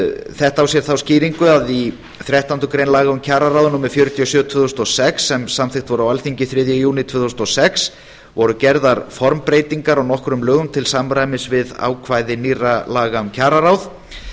þetta á sér þá skýringu að í þrettándu grein laga um kjararáð númer fjörutíu og sjö tvö þúsund og sex sem samþykkt voru á alþingi þriðja júní tvö þúsund og sex voru gerðar formbreytingar á nokkrum lögum til samræmis við ákvæði nýrra laga um kjararáð